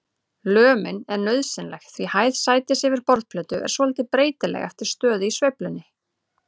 Lömin er nauðsynleg því hæð sætis yfir borðplötu er svolítið breytileg eftir stöðu í sveiflunni.